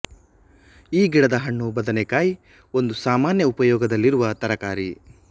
ಈ ಗಿಡದ ಹಣ್ಣು ಬದನೆಕಾಯಿ ಒಂದು ಸಾಮಾನ್ಯ ಉಪಯೋಗದಲ್ಲಿರುವ ತರಕಾರಿ